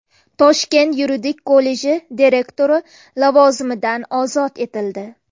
Toshkent yuridik kolleji direktori lavozimidan ozod etildi.